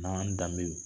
N'an y'an danbew